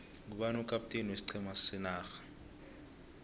ngubani ukapteni weiqhema senarha